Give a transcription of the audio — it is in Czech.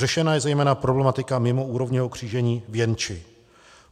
Řešena je zejména problematika mimoúrovňového křížení v Jenči.